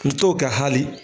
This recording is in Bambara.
Muso ka hali.